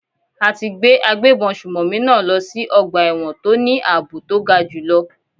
A ti gbé agbébọn sùnmọ̀mí náà lọ sí ọgbà ẹ̀wọ̀n tó ní àbò to ga jù lọ.